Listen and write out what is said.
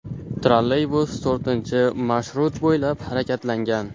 Trolleybus to‘rtinchi marshrut bo‘ylab harakatlangan.